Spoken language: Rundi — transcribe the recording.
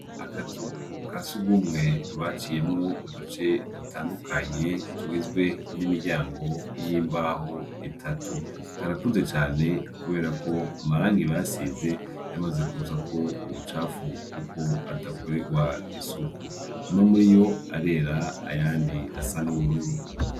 Akazu kasugumwe baciyemwo uduce dutandukanye tugizwe nimiryango yimbaho itatu karakuze cane kubera ko amarangi basize yamaze kuzako imicafu adakorerwa isuku amwe muriyo arera ayandi asa nubururu